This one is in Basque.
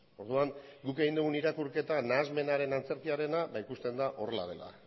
orduan guk egin dugu irakurketa nahasmenaren antzerkiarena ikusten da horrela dela